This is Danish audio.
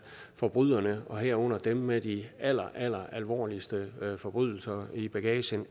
forbryderne herunder dem med de alleralleralvorligste forbrydelser i bagagen